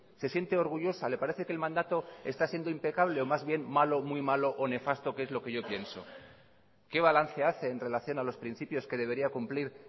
se siente orgullosa le parece que el mandato está siendo impecable o más bien malo muy malo o nefasto que es lo que yo pienso qué balance hace en relación a los principios que debería cumplir